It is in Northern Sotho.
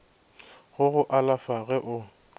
go go alafa ge o